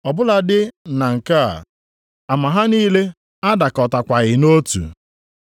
Ọ bụladị na nke a, ama ha niile adakọtakwaghị nʼotu.